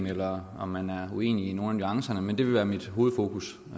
eller om man er uenig i nogle af nuancerne men det vil være mit hovedfokus